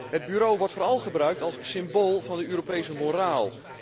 Het bureau wordt vooral gebruikt als symbool van de Europese moraal